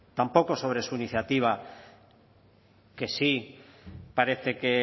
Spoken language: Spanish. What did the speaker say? tampoco sobre su iniciativa que sí parece que